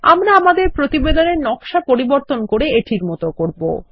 আমরাআমাদের প্রতিবেদনেরনকশা পরিবর্তন করে এটির মত করব